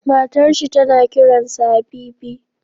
Matar shi tana kiran sa Habibi